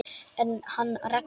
En hann Raggi?